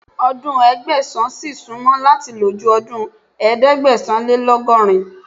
Ọdún Ẹgbẹ̀sán n ṣì súnmọ́ láti lò ju ọdún ẹ̀ẹ́dẹ́gbẹ̀sán-lé-lọ́gọrin.